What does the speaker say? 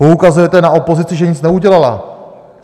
Poukazujete na opozici, že nic neudělala?